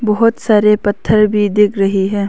बहोत सारे पत्थर भी दिख रहे हैं।